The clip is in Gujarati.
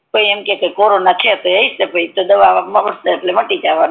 કોઈ કે કોરણ હસે તો દવા લઈ માટી જસે